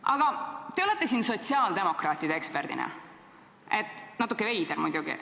Aga te olete siin sotsiaaldemokraatide kutsutud eksperdina –natuke veider muidugi.